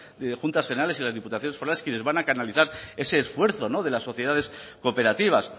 las juntas generales y las diputaciones forales quienes van a canalizar ese esfuerzo de las sociedades cooperativas